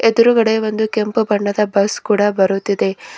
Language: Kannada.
ಎದುರುಗಡೆ ಒಂದು ಕೆಂಪು ಬಣ್ಣದ ಬಸ್ ಕೂಡ ಬರುತ್ತಿದೆ.